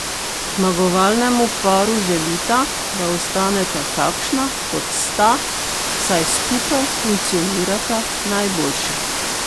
Zmagovalnemu paru želita, da ostaneta takšna, kot sta, saj skupaj funkcionirata najboljše.